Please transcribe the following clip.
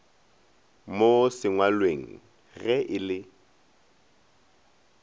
mo sengwalweng ge e le